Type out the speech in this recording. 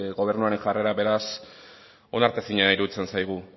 gobernuaren jarrera beraz onartezina iruditzen zaigu